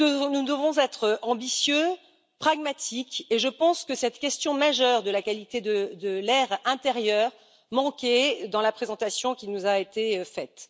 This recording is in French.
Nous devons être ambitieux, pragmatiques et je pense que cette question majeure de la qualité de l'air intérieur manquait dans la présentation qui nous a été faite.